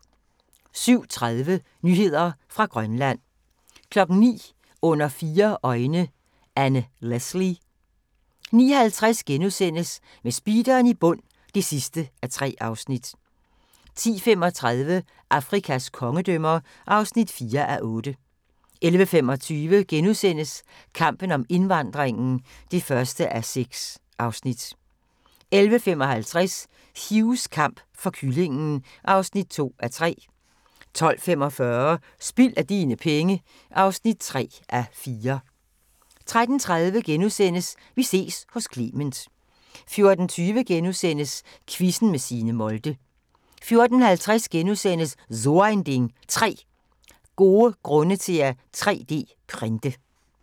07:30: Nyheder fra Grønland 09:00: Under fire øjne – Anne Leslie 09:50: Med speederen i bund (3:3)* 10:35: Afrikas kongedømmer (4:8) 11:25: Kampen om indvandringen (1:6)* 11:55: Hughs kamp for kyllingen (2:3) 12:45: Spild af dine penge (3:4) 13:30: Vi ses hos Clement * 14:20: Quizzen med Signe Molde * 14:50: So ein Ding: 3 gode grunde til at 3D-printe *